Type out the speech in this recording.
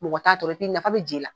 Mɔgɔ t'a tɔɔrɔ n'tɛ nafa bɛ ji la.